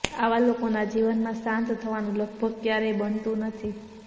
આવા લોકોના જીવનમાં શાંત થવાનું લગભગ ક્યારેય બનતું નથી